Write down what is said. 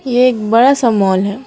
ये एक बड़ा सा मॉल है।